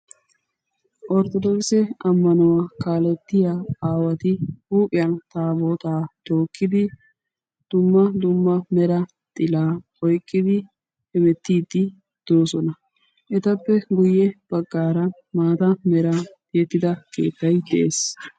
Orttodokise ammanuwaa kaalettiyaa aawati huuphphiyan taabotaa tookidi dumma dumma mera xila oyqqidi hemmettidi deosona. Etappe guye baggaara maataa meran tiyettida keettaykka de'ees.